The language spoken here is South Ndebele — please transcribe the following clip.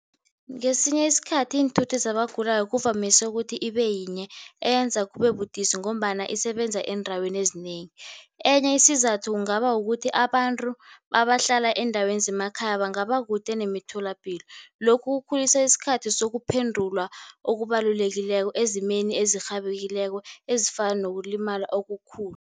Ngesinye isikhathi iinthuthi zabagulako kuvamise ukuthi ibe yinye eyenza kube budisi, ngombana isebenza eendaweni ezinengi. Enye isizathu kungaba kukuthi abantu abahlala eendaweni zemakhaya bangaba kude nemitholapilo. Lokhu kukhulisa isikhathi sokuphendulwa okubalulekileko ezimeni ezirhabekileko ezifana nokulimala okukhulu.